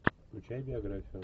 включай биографию